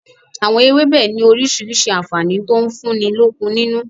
Àwọn ewébẹ̀ ni orísirísi àǹfààní to ń fúnni lókun nínú